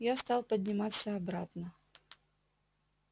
я стал подниматься обратно